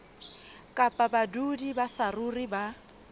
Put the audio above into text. kapa badudi ba saruri ba